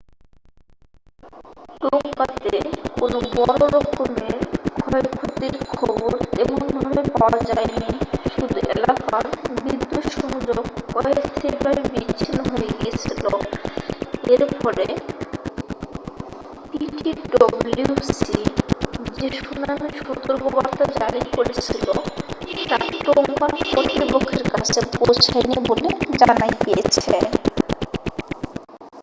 টোংগাতে কোনো বড়্ররকমের ক্ষয়ক্ষতির খবর তেমন ভাবে পাওয়া যায়নি শুধু এলাকার বিদ্যুৎ সংযোগ অস্থায়ী ভাবে বিচ্ছিন্ন হয়ে গিয়েছিল এর ফলে পিটিডবলিউসি যে সুনামির সতর্কবার্তা জারি করেছিল তা টোংগান কর্তৃপক্ষের কাছে পৌছয়নি বলে জানা গিয়েছে